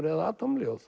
eða